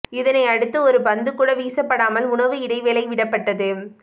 இதனை அடுத்து ஒரு பந்து கூட வீசப்படாமல் உணவு இடைவேளை விடப்பட்டது